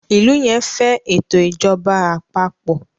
ilú yén fé eto ìjọba àpapọ̀